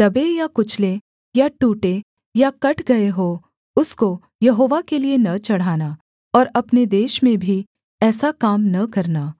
दबे या कुचले या टूटे या कट गए हों उसको यहोवा के लिये न चढ़ाना और अपने देश में भी ऐसा काम न करना